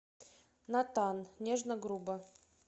натан нежно грубо